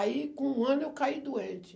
Aí, com um ano, eu caí doente.